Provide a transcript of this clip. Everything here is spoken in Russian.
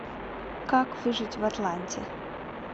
как выжить в атланте